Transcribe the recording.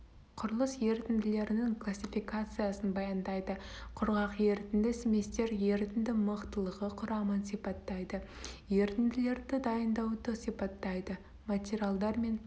құрылыс ерітінділерінің классификациясын баяндайды құрғақ ерітінді смесьтер ерітінді мықтылығы құрамын сипаттайды ерітінділерді дайындауды сипаттайды материалдар мен